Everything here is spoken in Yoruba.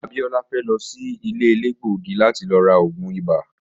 Abiola fe lo si ile elegbogi lati ra oogun ibà.